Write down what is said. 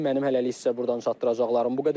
Mənim hələlik sizə burdan çatdıracaqlarım bu qədər.